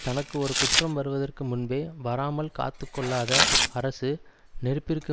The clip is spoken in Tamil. தனக்கு ஒரு குற்றம் வருவதற்கு முன்பே வராமல் காத்து கொள்ளாத அரசு நெருப்பிற்கு